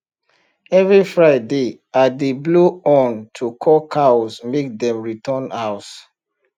every friday i dey blow horn to call cows make dem return house